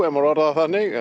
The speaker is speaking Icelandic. má orða það þannig